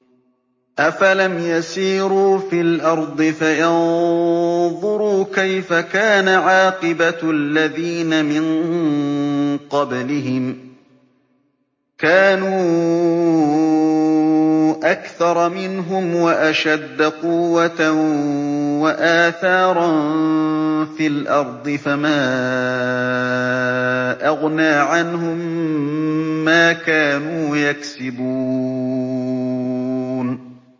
أَفَلَمْ يَسِيرُوا فِي الْأَرْضِ فَيَنظُرُوا كَيْفَ كَانَ عَاقِبَةُ الَّذِينَ مِن قَبْلِهِمْ ۚ كَانُوا أَكْثَرَ مِنْهُمْ وَأَشَدَّ قُوَّةً وَآثَارًا فِي الْأَرْضِ فَمَا أَغْنَىٰ عَنْهُم مَّا كَانُوا يَكْسِبُونَ